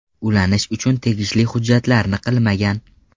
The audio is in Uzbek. Ulanish uchun tegishli hujjatlarni qilmagan.